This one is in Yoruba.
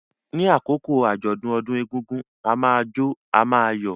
Ní àkókò àjọ̀dún ọdún egúngún, a máa jó, a máa yọ̀.